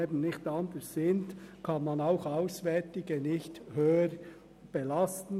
Aus rechtlichen Gründen kann man auswärtige Studierende nicht stärker belasten.